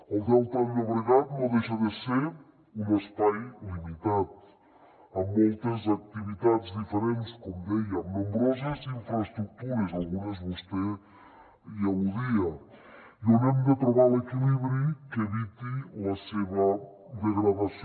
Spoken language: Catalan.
el delta del llobregat no deixa de ser un espai limitat amb moltes activitats diferents com dèiem nombroses infraestructures algunes vostè hi al·ludia i on hem de trobar l’equilibri que eviti la seva degradació